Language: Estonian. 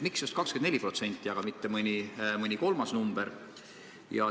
Miks just 24%, aga mitte mõni kolmas number?